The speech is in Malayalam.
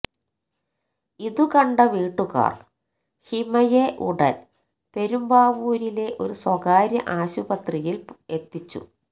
ഇതുകണ്ട വിട്ടുകാർ ഹിമയെ ഉടൻ പെരുമ്പാവൂരിലെ ഒരു സ്വകാര്യ ആശുപത്രിയിൽ എത്തിച്ചു